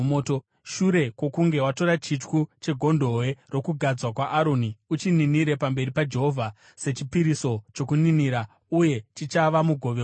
Shure kwokunge watora chityu chegondobwe rokugadzwa kwaAroni, uchininire pamberi paJehovha sechipiriso chokuninira uye chichava mugove wako.